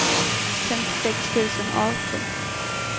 femtiosex tusen arton